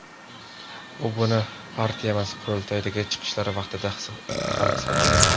U buni partiyamiz qurultoylaridagi chiqishlari vaqtida ham isbotlagan.